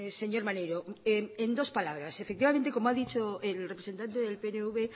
señor maneiro en dos palabras efectivamente como ha dicho el representante del pnv